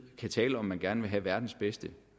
kan tale om at man gerne vil have verdens bedste